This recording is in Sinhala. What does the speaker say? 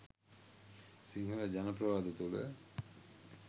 සිංහල ජන ප්‍රවාද තුල